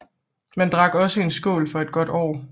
Man drak også en skål for et godt år